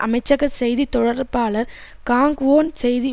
அமைச்சக செய்தி தொடர்பாளர் காங்க்வோன் செய்தி